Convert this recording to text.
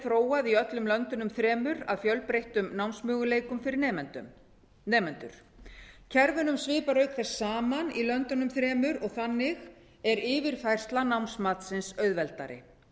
þróað í öllum löndunum þremur af fjölbreyttum námsmöguleikum fyrir nemendur kerfunum svipar auk þess saman í löndunum þremur og þannig er yfirfærsla námsmatsins auðveldari